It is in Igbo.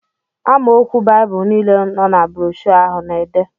Amaokwu Baịbụl niile nọ na broshọ ahụ na-ede